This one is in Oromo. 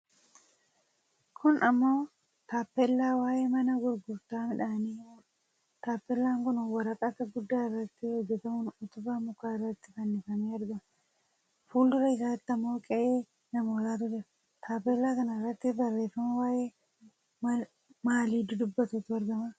Kun ammoo taappellaa waa'ee mana gurgurtaa midhaanii himuudha. taappellaan kun waraqata guddaa irratti hojjatamuun utubaa mukaa irratti fannifamee argama. Fuuldura isaatti ammoo qe'ee namootaatu jira. Taappellaa kana irratti barreeffama waa'ee maalii dubbatutu argama?